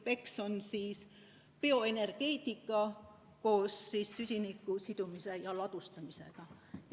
BECCS on siis bioenergeetika koos süsiniku sidumise ja ladustamisega.